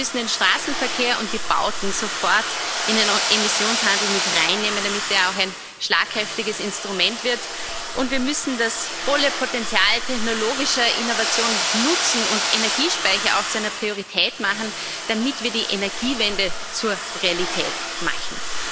Wir müssen den Straßenverkehr und die Bauten sofort in den Emissionshandel mit reinnehmen, damit er auch ein schlagkräftiges Instrument wird, und wir müssen das volle Potenzial technologischer Innovation nutzen und auch Energiespeicher zu einer Priorität machen, damit wir die Energiewende zur Realität machen.